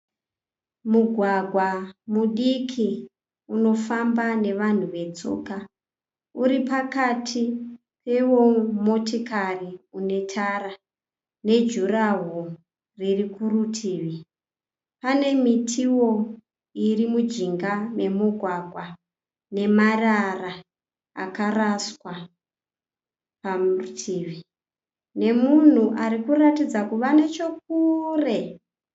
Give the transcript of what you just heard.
Mugwagwa mudiki unofamba nevanhu vetsoka uri pakati pewomotikari unetara nejurahoro riri kurutivi. Pane mitiwo iri mujinga memugwagwa nemarara akaraswa parutivi nemunhu anoratidza kuva nechokure.